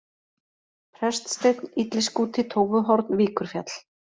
Preststeinn, Illiskúti, Tófuhorn, Víkurfjall